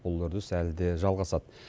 бұл үрдіс әлі де жалғасады